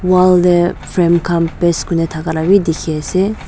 wall de frame khan paste kuri ne thaka la b dikhi ase.